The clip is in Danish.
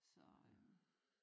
Så øh